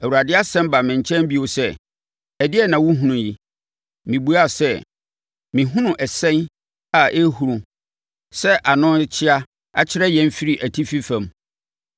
Awurade asɛm baa me nkyɛn bio sɛ, “Ɛdeɛn na wohunu yi?” Mebuaa sɛ, “Mehunu ɛsɛn a ɛrehuru sɛ ano rekyea akyerɛ yɛn firi atifi fam.”